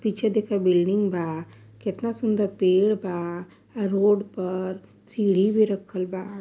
पीछे देख बिल्डिंग बा। कितना सुंदर पेड़ बा। रोड पर सीढ़ी भी रखल बा।